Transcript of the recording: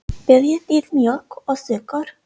Viljið þið mjólk og sykur?